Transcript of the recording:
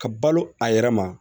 Ka balo a yɛrɛ ma